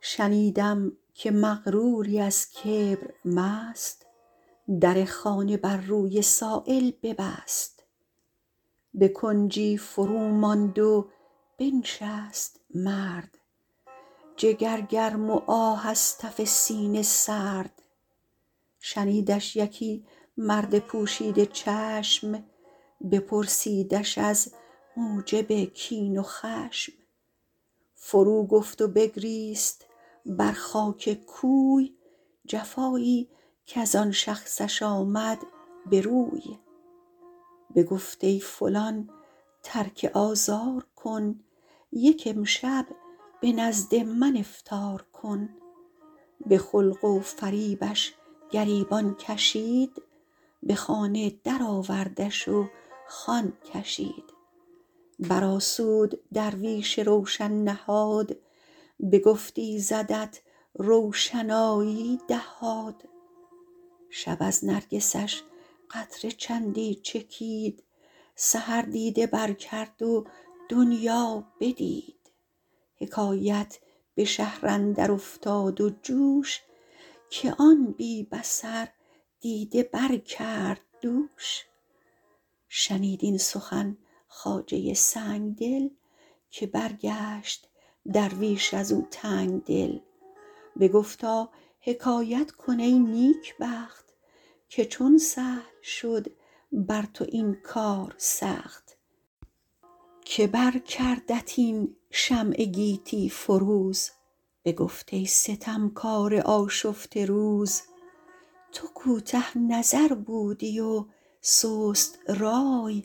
شنیدم که مغروری از کبر مست در خانه بر روی سایل ببست به کنجی فرو ماند و بنشست مرد جگر گرم و آه از تف سینه سرد شنیدش یکی مرد پوشیده چشم بپرسیدش از موجب کین و خشم فرو گفت و بگریست بر خاک کوی جفایی کز آن شخصش آمد به روی بگفت ای فلان ترک آزار کن یک امشب به نزد من افطار کن به خلق و فریبش گریبان کشید به خانه در آوردش و خوان کشید بر آسود درویش روشن نهاد بگفت ایزدت روشنایی دهاد شب از نرگسش قطره چندی چکید سحر دیده بر کرد و دنیا بدید حکایت به شهر اندر افتاد و جوش که آن بی بصر دیده بر کرد دوش شنید این سخن خواجه سنگدل که برگشت درویش از او تنگدل بگفتا حکایت کن ای نیکبخت که چون سهل شد بر تو این کار سخت که بر کردت این شمع گیتی فروز بگفت ای ستمکار آشفته روز تو کوته نظر بودی و سست رای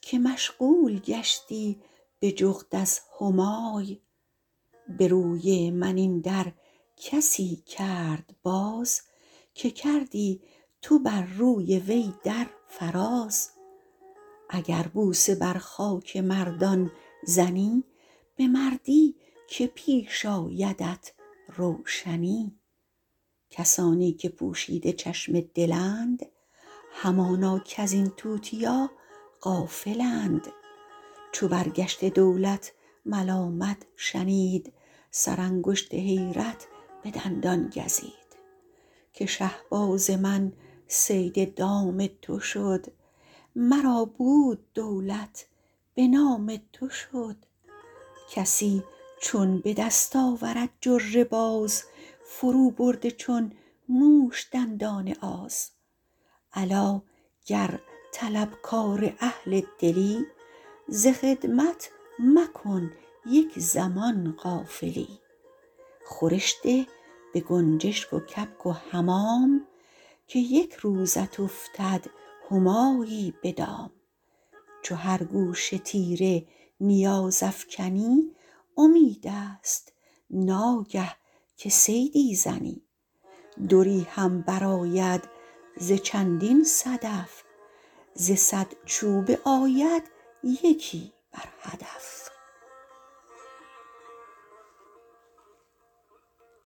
که مشغول گشتی به جغد از همای به روی من این در کسی کرد باز که کردی تو بر روی وی در فراز اگر بوسه بر خاک مردان زنی به مردی که پیش آیدت روشنی کسانی که پوشیده چشم دلند همانا کز این توتیا غافلند چو برگشته دولت ملامت شنید سر انگشت حیرت به دندان گزید که شهباز من صید دام تو شد مرا بود دولت به نام تو شد کسی چون به دست آورد جره باز فرو برده چون موش دندان آز الا گر طلبکار اهل دلی ز خدمت مکن یک زمان غافلی خورش ده به گنجشک و کبک و حمام که یک روزت افتد همایی به دام چو هر گوشه تیر نیاز افکنی امید است ناگه که صیدی زنی دری هم بر آید ز چندین صدف ز صد چوبه آید یکی بر هدف